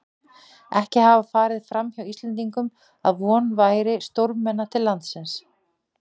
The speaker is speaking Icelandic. Ekki hafði farið framhjá Íslendingum, að von væri stórmenna til landsins.